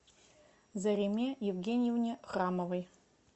зареме евгеньевне храмовой